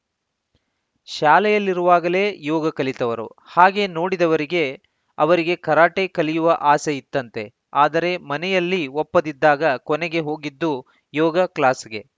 ಶಾಲೆಯಲ್ಲಿರುವಾಗಲೇ ಯೋಗ ಕಲಿತವರು ಹಾಗೆ ನೋಡಿದವರಿಗೆ ಅವರಿಗೆ ಕರಾಟೆ ಕಲಿಯುವ ಆಸೆ ಇತ್ತಂತೆ ಆದರೆ ಮನೆಯಲ್ಲಿ ಒಪ್ಪದಿದ್ದಾಗ ಕೊನೆಗೆ ಹೋಗಿದ್ದು ಯೋಗ ಕ್ಲಾಸ್‌ಗೆ